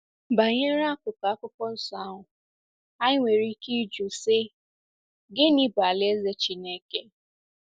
Banyere akụkụ Akwụkwọ Nsọ ahụ, anyị nwere ike ịjụ sị, 'Gịnị bụ Alaeze Chineke?'